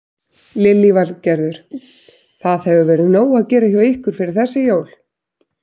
Lillý Valgerður: Það hefur verið nóg að gera hjá ykkur fyrir þessi jól?